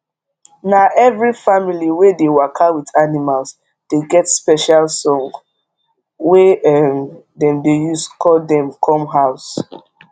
na every family wey dey waka with animals dey get special song wey um dem dey use call dem come house